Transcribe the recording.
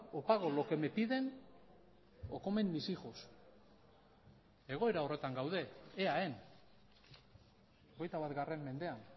o pago lo que me piden o comen mis hijos egoera horretan gaude eaen hogeita bat mendean